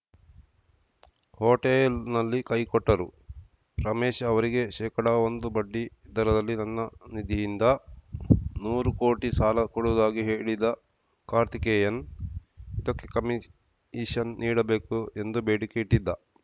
ಹೋಟೆಲ್‌ನಲ್ಲಿ ಕೈಕೊಟ್ಟರು ರಮೇಶ್‌ ಅವರಿಗೆ ಶೇಕಡ ಒಂದು ಬಡ್ಡಿ ದರದಲ್ಲಿ ನನ್ನ ನಿಧಿಯಿಂದ ನೂರು ಕೋಟಿ ಸಾಲ ಕೊಡುವುದಾಗಿ ಹೇಳಿದ ಕಾರ್ತಿಕೇಯನ್‌ ಇದಕ್ಕೆ ಕಮಿಷನ್‌ ನೀಡಬೇಕು ಎಂದು ಬೇಡಿಕೆ ಇಟ್ಟಿದ್ದ